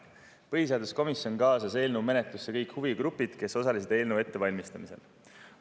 Põhiseaduskomisjon kaasas eelnõu menetlusse kõik huvigrupid, kes osalesid eelnõu ettevalmistamisel.